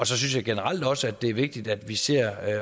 så synes jeg generelt også det er vigtigt at vi ser